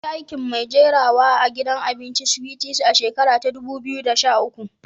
Na yi aikin mai jirawa a'gidan abincin Sweeties a shakaran dubu biyu da sha uku.